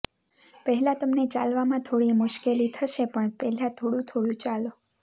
પહેલા તમને ચાલવામાં ોડી મુશ્કેલી શે પણ પહેલા થોડુ થોડુ ચાલો